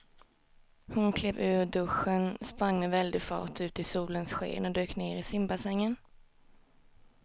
Hon klev ur duschen, sprang med väldig fart ut i solens sken och dök ner i simbassängen.